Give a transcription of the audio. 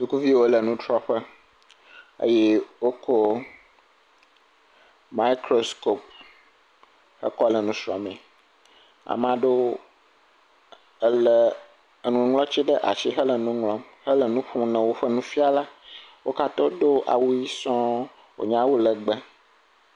Sukuviwo le nutrɔƒe eye wokɔ maɛkroskopi wokɔ le nusrɔ̃mee. Ama ɖewo elé nuŋlɔtsi ɖe asi hele nu ŋlɔm hele nu xlẽm na woƒe nufiala. Wo katã wodo awu ʋi sɔŋ wònye awu lɛgbɛ.